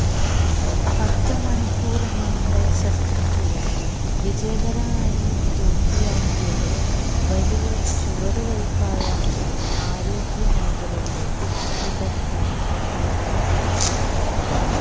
പത്ത് മണിക്കൂര് നീണ്ട ശസ്ത്രക്രിയ വിജയകരായി പൂര്ത്തിയാക്കിയത് വലിയ ചുവടുവയ്പായാണ് ആരോഗ്യമേഖലയിലെ വിദഗ്ധര് കണക്കാക്കുന്നത്